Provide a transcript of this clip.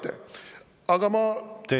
Teie aeg!